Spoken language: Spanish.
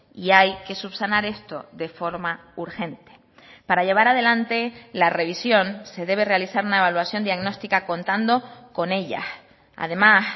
y hay que subsanar esto de forma urgente para llevar adelante la revisión se debe realizar una evaluación diagnostica contando con ellas además